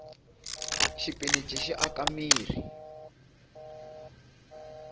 xipinichi xi aka mirhi